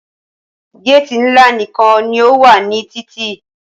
Géèti ńlá nìkan ní o wà ní títì.